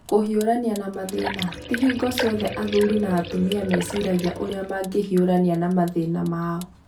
Kũhiũrania na mathĩna: Ti hingo ciothe athuri na atumia meciragia ũrĩa mangĩhiũrania na mathĩna mao.